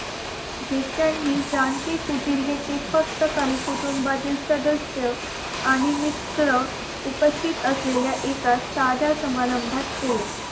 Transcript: जेत्या नि शांती गुटिरेगे फक्त कुटुंबातील काही सदस्य आणि मित्र उपस्तित असलेल्या एका सध्या समारंभात केले